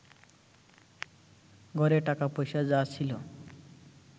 ঘরে টাকা-পয়সা যা ছিল